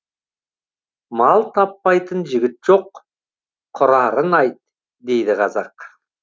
мал таппайтын жігіт жоқ құрарын айт дейді қазақ